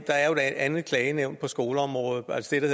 andet klagenævn på skoleområdet altså det